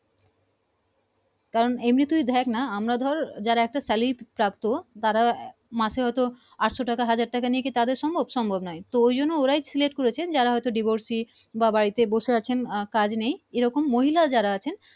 কারন এমনি তুই দেখ না আমরা ধর যারা একটা salary প্রাপ্ত তারা আহ মাসে হয়তো আটশ টাকা হাজার টাকা নিয়ে তাদের সম্ভব, সম্ভব না নয় তো ওই জন্য ওরাই Select করেছেন যারা হয়তো divorce বা বাড়িতে বসে আছেন আহ কাজ নেই এ রকম মহিলা যারা আছেন